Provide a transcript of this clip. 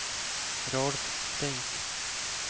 Rolf Flink